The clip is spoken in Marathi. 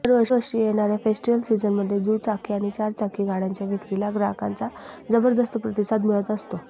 दर वर्षी येणाऱ्या फेस्टिवल सीजनमध्ये दुचाकी आणि चारचाकी गाड्यांच्या विक्रीला ग्राहकांचा जबरदस्त प्रतिसाद मिळत असतो